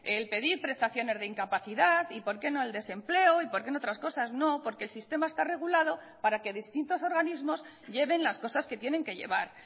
el pedir prestaciones de incapacidad y por qué no el desempleo y por qué en otras cosas no porque el sistema está regulado para que distintos organismos lleven las cosas que tienen que llevar